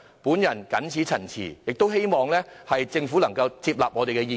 我謹此陳辭，希望政府可以接納我們的意見。